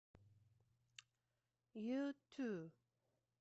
юту